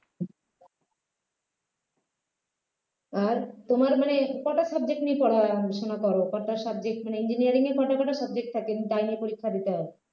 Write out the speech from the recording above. আর তোমার মানে কটা subject নিয়ে পড়াশোনা করো কটা subject মানে engineering এ কটা কটা subject থাকে তাই নিয়ে পরীক্ষা দিতে হয়